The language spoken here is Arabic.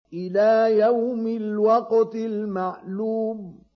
إِلَىٰ يَوْمِ الْوَقْتِ الْمَعْلُومِ